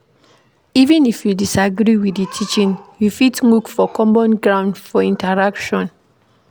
Even if you disagree with di teaching, you fit look for common ground fot interaction